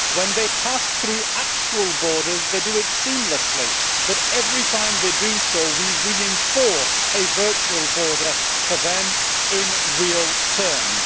When they pass through actual borders they do it seamlessly, but every time they do so we reinforce a virtual border for them in real terms.